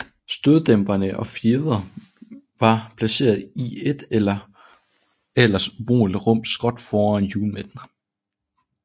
Støddæmpere og fjedre var placeret i et ellers ubrugeligt rum skråt foran hjulmidten